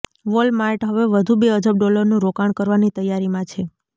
Walmart હવે વધુ બે અબજ ડોલરનું રોકાણ કરવાની તૈયારીમાં છે